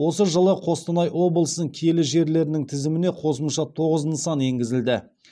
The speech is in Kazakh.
осы жылы қостанай облысының киелі жерлерінің тізіміне қосымша тоғыз нысан енгізілді